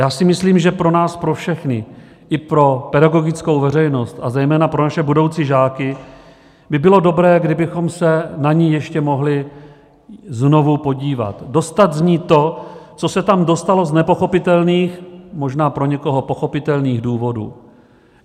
Já si myslím, že pro nás pro všechny, i pro pedagogickou veřejnost a zejména pro naše budoucí žáky by bylo dobré, kdybychom se na ni ještě mohli znovu podívat, dostat z ní to, co se tam dostalo z nepochopitelných, možná pro někoho pochopitelných důvodů.